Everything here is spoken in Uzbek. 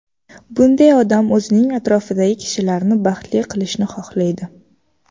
Bunday odam o‘zining atrofidagi kishilarni baxtli qilishni xohlaydi.